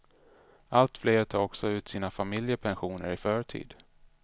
Allt fler tar också ut sina familjepensioner i förtid.